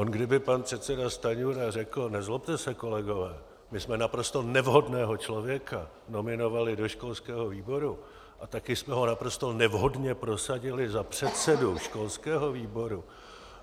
On kdyby pan předseda Stanjura řekl: nezlobte se, kolegové, my jsme naprosto nevhodného člověka nominovali do školského výboru a taky jsme ho naprosto nevhodně prosadili za předsedu školského výboru